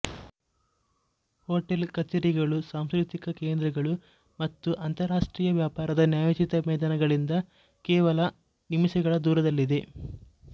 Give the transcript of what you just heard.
hotel ಕಚೇರಿಗಳು ಸಾಂಸ್ಕೃತಿಕ ಕೇಂದ್ರಗಳು ಮತ್ತು ಅಂತರರಾಷ್ಟ್ರೀಯ ವ್ಯಾಪಾರದ ನ್ಯಾಯೋಚಿತ ಮೈದಾನಗಳಿಂದ ಕೇವಲ ನಿಮಿಷಗಳ ದೂರದಲ್ಲಿದೆ